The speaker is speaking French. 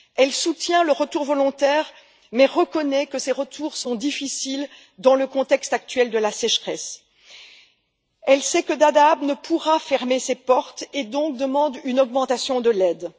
Elle soutient les retours volontaires, mais reconnaît que ces retours sont difficiles dans le contexte actuel de la sécheresse. Elle sait que Dadaab ne pourra fermer ses portes et demande donc une augmentation de l'aide.